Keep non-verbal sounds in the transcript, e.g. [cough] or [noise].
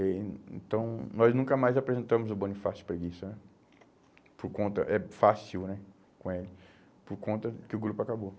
Eh então, nós nunca mais apresentamos o Bonifácio Preguiça né, por conta, é fácil né, [unintelligible] por conta que o grupo acabou.